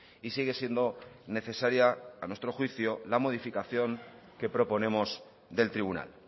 y sigue siendo necesaria a nuestro juicio la modificación que proponemos del tribunal